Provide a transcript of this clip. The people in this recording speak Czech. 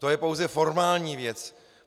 To je pouze formální věc.